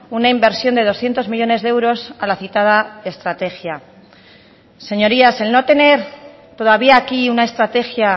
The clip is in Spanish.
una inversión de doscientos millónes de euros a la citada estrategia señorías el no tener todavía aquí una estrategia